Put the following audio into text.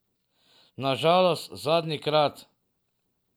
Na žalost zadnjikrat.